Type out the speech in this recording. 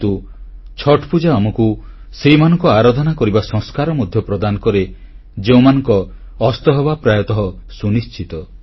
କିନ୍ତୁ ଛଠ୍ ପୂଜା ଆମକୁ ସେଇମାନଙ୍କ ଆରାଧନା କରିବା ସଂସ୍କାର ମଧ୍ୟ ପ୍ରଦାନ କରେ ଯେଉଁମାନଙ୍କ ଅସ୍ତହେବା ପ୍ରାୟତଃ ସୁନିଶ୍ଚିତ